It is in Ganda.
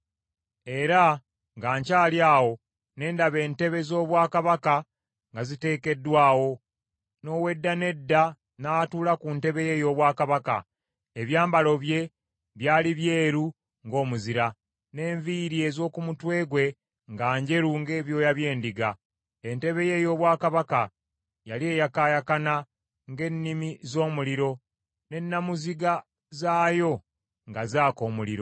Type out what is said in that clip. “Era nga nkyali awo ne ndaba, “entebe ez’obwakabaka nga ziteekeddwawo, n’Owedda n’Edda n’atuula ku ntebe ye ey’obwakabaka. Ebyambalo bye byali byeru ng’omuzira, n’enviiri ez’oku mutwe gwe nga njeru ng’ebyoya by’endiga. Entebe ye ey’obwakabaka yali eyakaayakana ng’ennimi z’omuliro, ne namuziga zaayo nga zaaka omuliro.